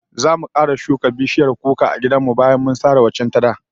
Zamu kara shuka bishiyar kuka a gidan mu bayan sare waccan ta da